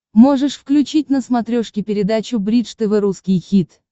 можешь включить на смотрешке передачу бридж тв русский хит